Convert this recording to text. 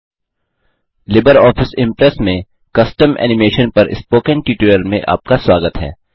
Libre office Impress में custom animation custom animation पर spoken tutorial में आपका स्वागत है